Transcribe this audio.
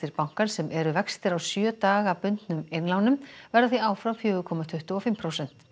bankans sem eru vextir á sjö daga bundnum innlánum verða því áfram fjórar komma tuttugu og fimm prósent